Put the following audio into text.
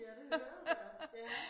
Ja det hørte jeg ja